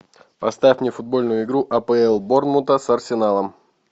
поставь мне футбольную игру апл борнмута с арсеналом